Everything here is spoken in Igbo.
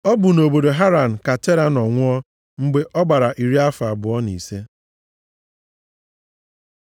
Ọ bụ nʼobodo Haran ka Tera nọ nwụọ, mgbe ọ gbara narị afọ abụọ na ise.